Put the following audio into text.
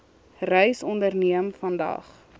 reis onderneem vandag